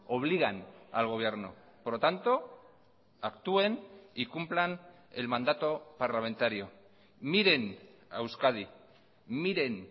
obligan al gobierno por lo tanto actúen y cumplan el mandato parlamentario miren a euskadi miren